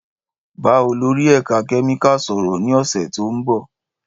Bá olórí ẹ̀ka kẹ́míkà sọ̀rọ̀ ní ọ̀sẹ̀ tó ń bọ̀.